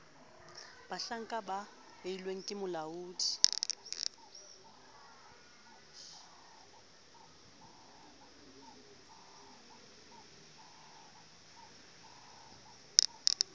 bahlanka ba beilweng ke molaodi